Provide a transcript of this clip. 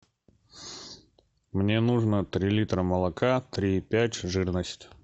мне нужно три литра молока три и пять жирность